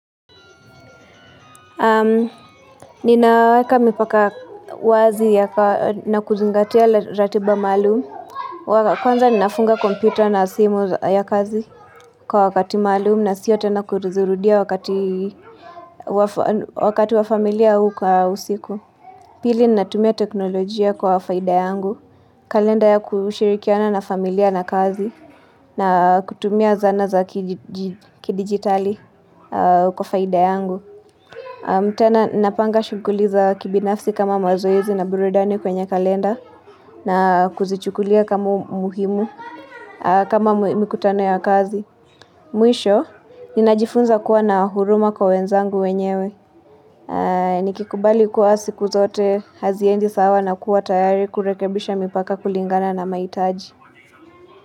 Ninaweka mipaka wazi na kuzungatia ratiba maalum Kwanza ninafunga kompyuta na simu ya kazi kwa wakati maalum na sio tena kuzirudia wakati wa familia huu kwa usiku. Pili, natumia teknolojia kwa faida yangu. Kalenda ya kushirikiana na familia na kazi na kutumia zana za kidigitali kwa faida yangu. Tena napanga shuguli za kibinafsi kama mazoezi na burudani kwenye kalenda na kuzichukulia kama muhimu kama mikutano ya kazi. Mwisho, ninajifunza kuwa na huruma kwa wenzangu wenyewe. Nikikubali kuwa siku zote haziendi sawa na kuwa tayari kurekebisha mipaka kulingana na mahitaji.